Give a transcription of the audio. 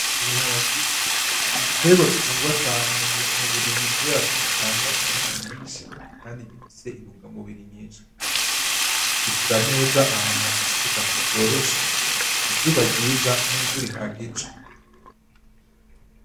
Ibiharage n’igiterwa gikundwa cane mu burimyi kubera ko gitanga umwimbu mwishi kandi gifise intungamubiri nyishi bikura neza ahantu hafise ubutaka bworoshe izuba ryiza n’imvura ihagije.